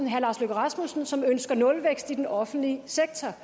herre lars løkke rasmussen som ønsker nulvækst i den offentlige sektor